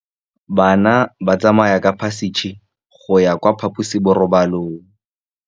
Bana ba tsamaya ka phašitshe go ya kwa phaposiborobalong.